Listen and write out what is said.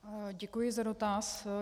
Děkuji za dotaz.